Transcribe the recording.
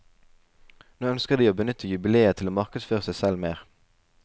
Nå ønsker de å benytte jubileet til å markedsføre seg selv mer.